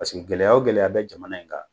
Paseke gɛlɛya o gɛlɛya bɛ jamana in kan